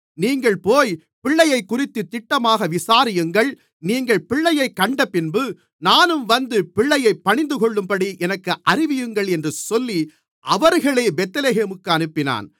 நீங்கள் போய் பிள்ளையைக்குறித்துத் திட்டமாக விசாரியுங்கள் நீங்கள் பிள்ளையைக் கண்டபின்பு நானும் வந்து பிள்ளையைப் பணிந்துகொள்ளும்படி எனக்கு அறிவியுங்கள் என்று சொல்லி அவர்களை பெத்லகேமுக்கு அனுப்பினான்